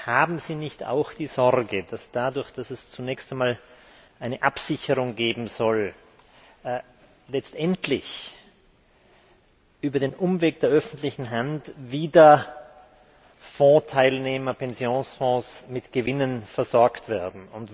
Haben Sie nicht auch die Sorge, dass dadurch, dass es zunächst einmal eine Absicherung geben soll, letztendlich über den Umweg der öffentlichen Hand wieder Vorteilnehmer Pensionsfonds mit Gewinnen versorgt werden?